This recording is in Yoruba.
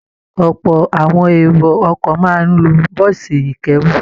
Ọ̀pọ̀ àwọn èrò ọkọ̀ máa ń lo bọ́ọ̀sì ìkẹ́rù